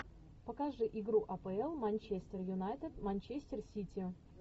покажи игру апл манчестер юнайтед манчестер сити